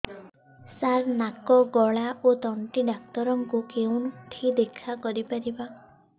ସାର ନାକ ଗଳା ଓ ତଣ୍ଟି ଡକ୍ଟର ଙ୍କୁ କେଉଁଠି ଦେଖା କରିପାରିବା